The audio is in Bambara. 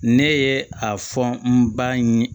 Ne ye a fɔ n ba in ye